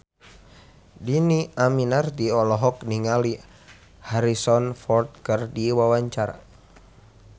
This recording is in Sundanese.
Dhini Aminarti olohok ningali Harrison Ford keur diwawancara